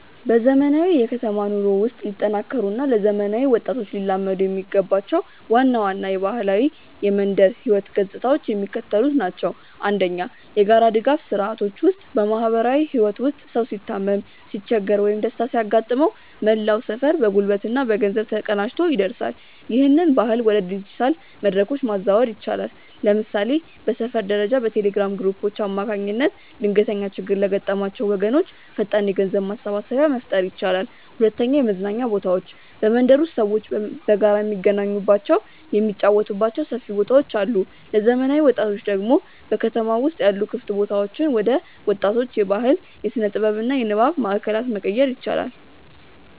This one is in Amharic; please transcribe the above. በዘመናዊው የከተማ ኑሮ ውስጥ ሊጠናከሩ እና ለዘመናዊ ወጣቶች ሊላመዱ የሚገባቸው ዋና ዋና የባህላዊ የመንደር ህይወት ገጽታዎች የሚከተሉት ናቸው፦ 1. የጋራ ድጋፍ ስርዓቶች ውስጥ በማህበራዊ ህይወት ውስጥ ሰው ሲታመም፣ ሲቸገር ወይም ደስታ ሲያጋጥመው መላው ሰፈር በጉልበትና በገንዘብ ተቀናጅቶ ይደርሳል። ይህንን ባህል ወደ ዲጂታል መድረኮች ማዛወር ይቻላል። ለምሳሌ በሰፈር ደረጃ በቴሌግራም ግሩፖች አማካኝነት ድንገተኛ ችግር ለገጠማቸው ወገኖች ፈጣን የገንዘብ ማሰባሰቢያ መፍጠር ይቻላል። 2. የመዝናኛ ቦታዎች በመንደር ውስጥ ሰዎች በጋራ የሚገናኙባቸው፣ የሚጫወቱባቸው ሰፊ ቦታዎች አሉ። ለዘመናዊ ወጣቶች ደግሞ በከተሞች ውስጥ ያሉ ክፍት ቦታዎችን ወደ ወጣቶች የባህል፣ የስነ-ጥበብ እና የንባብ ማእከላት መቀየር ይቻላል።